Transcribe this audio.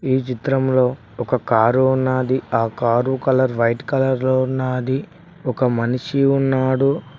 ఈ చిత్రంలో ఒక కారు ఉన్నాది ఆ కారు కలర్ వైట్ కలర్ లో ఉన్నాది ఒక మనిషి ఉన్నాడు.